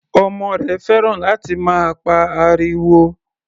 Ọmọ rẹ̀ fẹ́ràn láti máa pa ariwo.